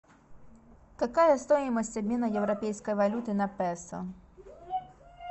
какая стоимость обмена европейской валюты на песо